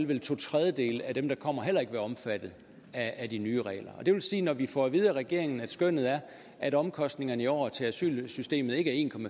vel to tredjedele af dem der kommer heller ikke være omfattet af de nye regler og det vil sige at når vi får at vide af regeringen at skønnet er at omkostningerne i år til asylsystemet ikke er en